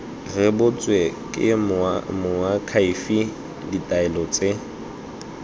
rebotswe ke moakhaefe ditaelo tse